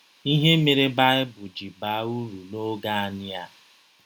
Ihe mere Baịbụl ji baa ụrụ n’ọge Anyị A